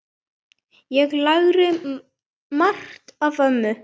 Ég lærði margt af ömmu.